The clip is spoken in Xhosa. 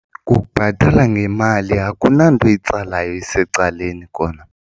Kukubhatala ngemali akunanto itsalayo isecaleni kona.